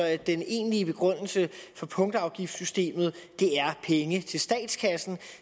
at den egentlige begrundelse for punktafgiftssystemet er penge til statskassen